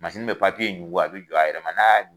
be ɲugu a be don a yɛrɛ ma, a ya